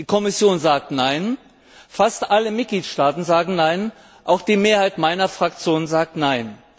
Die Kommission sagt nein, fast alle Mitgliedstaaten sagen nein, auch die Mehrheit meiner Fraktion sagt nein.